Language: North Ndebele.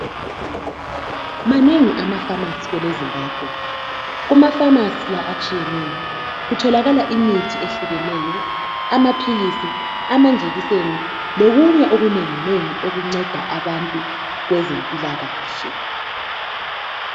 Manengi amaphamarcy kweleZimbabwe. Kumaphamarcy la atshiyeneyo kutholakala imithi ethlukeneyo, amaphilisi, amanjekiseni. Lokunye okunenginengi, okunceda abantu kwezempilakahle.